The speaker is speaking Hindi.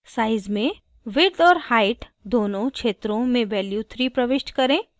size में width और height दोनों क्षेत्रों में value 3 प्रविष्ट करें